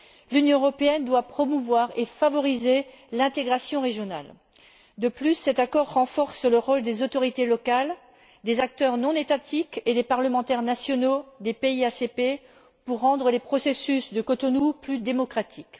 L'Union européenne doit promouvoir et favoriser l'intégration régionale. De plus, cet accord renforce le rôle des autorités locales, des acteurs non étatiques et des parlementaires nationaux des pays ACP pour rendre le processus de Cotonou plus démocratique.